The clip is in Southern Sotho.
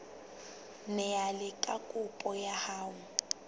neelane ka kopo ya hao